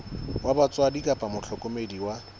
wa batswadi kapa mohlokomedi wa